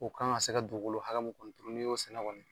O kan ka se ka dugukolo hakɛ kuntunu n'i y'o sɛnɛ kɔni.